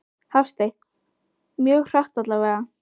Hafsteinn: Mjög hratt allavega?